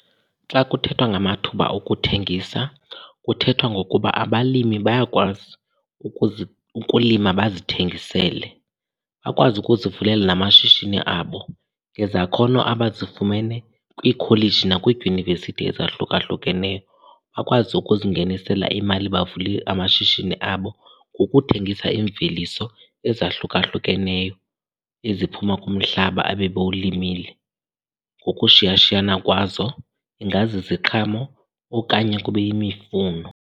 Xa kuthethwa ngamathuba okuthengisa, kuthethwa ngokuba abalimi bayakwazi ukulima bazithengisele. Bakwazi ukuzivulela namashishini abo ngezakhono abazifumene kwiikholeji nakwiidyunivesithi ezahlukahlukeneyo. Bakwazi ukuzingenisela imali bavule amashishini abo ngokuthengisa imveliso ezahlukahlukeneyo eziphuma kumhlaba abebowulimile ngokushiyashiyana kwazo, ingaziziqhamo okanye kube yimifuno.